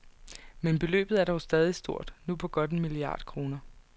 Men beløbet er dog stadig stort, nu på godt en milliard kroner.